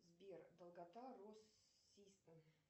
сбер долгота россистем